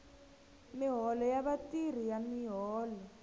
miholo ya vatirhi ya miholo